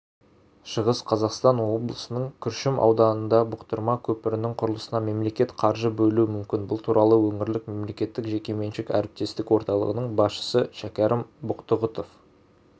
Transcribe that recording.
шығыс қазақстан облысының күршім ауданындағыбұқтырма көпірінің құрылысына мемлекет қаржы бөлуі мүмкін бұл туралы өңірлік мемлекеттік-жекеменшік әріптестік орталығының басшысы шәкәрім бұқтұғұтов